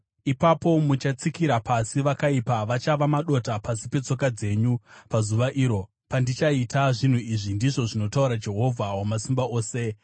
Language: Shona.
Ipapo muchatsikira pasi vakaipa; vachava madota pasi petsoka dzenyu pazuva iro pandichaita zvinhu izvi,” ndizvo zvinotaura Jehovha Wamasimba Ose.